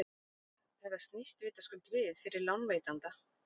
Þetta snýst vitaskuld við fyrir lánveitanda.